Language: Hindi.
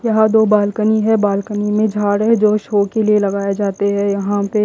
यहां दो बाल्कनी है बाल्कनी में झाड़ है जो शो के लिए लगाए जाते है यहां पे--